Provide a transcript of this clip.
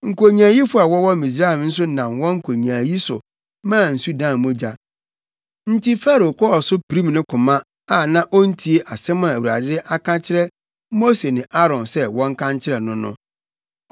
Nkonyaayifo a wɔwɔ Misraim nso nam wɔn nkonyaayi so maa nsu dan mogya, nti Farao kɔɔ so pirim ne koma a na ontie asɛm a Awurade aka akyerɛ Mose ne Aaron sɛ wɔnka nkyerɛ no no.